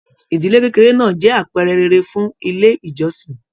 Ìdílé kékeré náà jẹ àpẹẹrẹ rere fún ilé ìjọsìn.